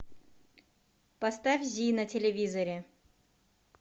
поставь зи на телевизоре